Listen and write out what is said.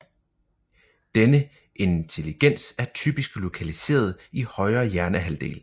Denne intelligens er typisk lokaliseret i højre hjernehalvdel